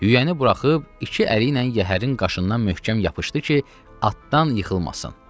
Yüyəni buraxıb iki əli ilə yəhərin qaşından möhkəm yapışdı ki, atdan yıxılmasın.